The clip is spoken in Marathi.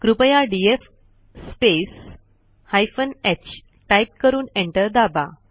कृपया DF space hyphen h type करून एंटर दाबा